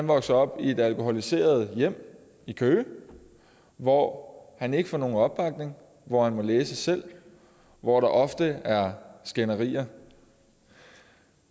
vokset op i et alkoholiseret hjem i køge hvor han ikke får nogen opbakning hvor han må læse selv og hvor der ofte er skænderier